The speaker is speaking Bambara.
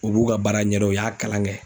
U b'u ka baara ɲɛdɔn u y'a kalan kɛ.